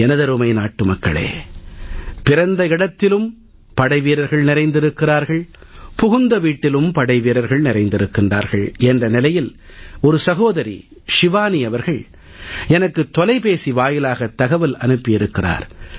எனதருமை நாட்டுமக்களே பிறந்த இடத்திலும் படைவீரர்கள் நிறைந்திருக்கிறார்கள் புகுந்த வீட்டிலும் படைவீரர்கள் நிறைந்திருக்கிறார்கள் என்ற நிலையில் ஒரு சகோதரி ஷிவானி எனக்கு தொலைபேசி வாயிலாகத் தகவல் அனுப்பி இருக்கிறார்